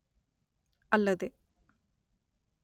ಅಲ್ಲದೆ